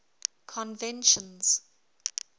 conventions